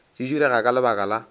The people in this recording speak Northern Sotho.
di direga ka lebaka la